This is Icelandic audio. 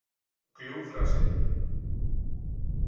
Gljúfraseli